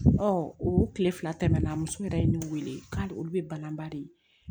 o tile fila tɛmɛna muso yɛrɛ ye ne wele k'ale olu bɛ ban ba de ye